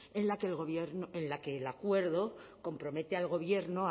en la que el acuerdo compromete al gobierno